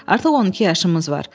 Artıq 12 yaşımız var.